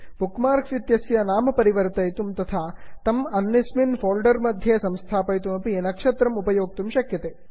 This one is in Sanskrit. बुक् मार्क्स् इत्यस्य नाम परिवर्तयितुं तथा तम् अन्यस्मिन् फोल्डर् मध्ये स्थापयितुमपि नक्षत्रमुपयोक्तुं शक्यते